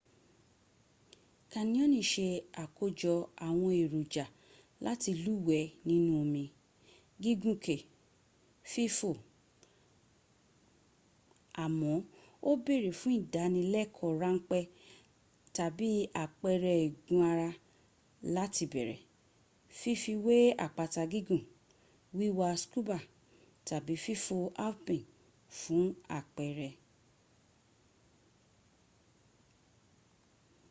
canyoning se àkójọ àwọn èròjà láti lúwẹ̀ẹ́ nínú omi gígùn kè fífò--àmọ́ ó bèèrè fún ìdánilẹ́kọ̀ọ́ ráńpẹ́ tàbí àpẹrẹ igun ara láti bẹ̀rẹ̀ fífi wé àpáta gígùn wíwa scuba tàbí fífò alphine fún àpẹrẹ